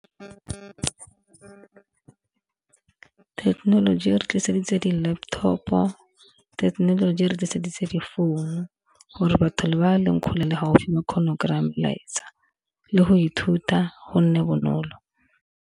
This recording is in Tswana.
Technology re tliseditse di-laptop-o, thekenoloji re tliseditse difounu gore batho le ba leng kgole le haufi kgone kry-a melaetsa le go ithuta go nne bonolo.